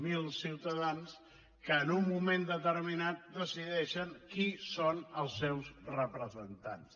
zero ciutadans que en un moment determinat decideixen qui són els seus representants